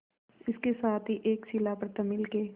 इसके साथ ही एक शिला पर तमिल के